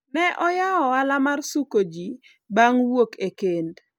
ne oyawo ohala mar suko ji bang' wuok e kend